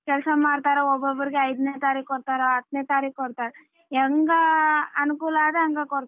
ಕೆಲಸ ಮಾಡ್ತಾರೆ ಒಬ್ಬಬ್ಬರಿಗೆ ಐದನೇ ತಾರೀಖ್ ಕೊಡ್ತಾರ ಹತ್ತನೇ ತಾರೀಖ್ ಕೊಡ್ತಾರ ಹೆಂಗ ಅನುಕೂಲ ಆದಂಗ ಕೊಡ್ತಾರ.